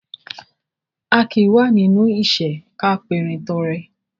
A kì í wà nínú ìṣẹ́ ká perin tọrẹ